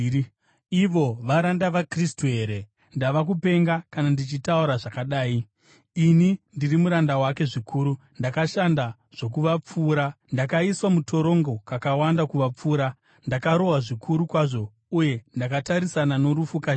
Ivo varanda vaKristu here? Ndava kupenga, kana ndichitaura zvakadai. Ini ndiri muranda wake zvikuru. Ndakashanda zvokuvapfuura, ndakaiswa mutorongo kakawanda kuvapfuura, ndakarohwa zvikuru kwazvo, uye ndakatarisana norufu kazhinji.